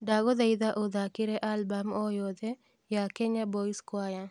ndagũthaitha uthakĩre album oyothe ya kenya boys choir